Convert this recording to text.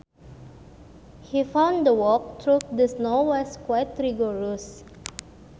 He found the walk through the snow was quite rigorous